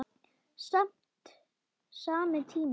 Sami tími.